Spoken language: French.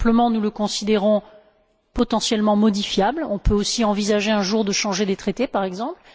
Nous le considérons simplement comme potentiellement modifiable. On peut aussi envisager un jour de changer les traités, par exemple.